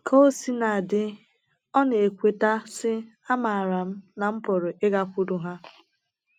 Ka o sina dị, ọ na - ekweta, sị: “ Amaara m na m pụrụ ịgakwuru ha. ”